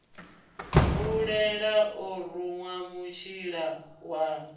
fulela o ruṅwa mutshila wa